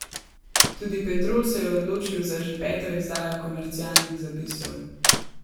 Tudi Petrol se je odločil za že peto izdajo komercialnih zapisov.